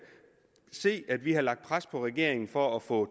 se at vi har lagt pres på regeringen for at få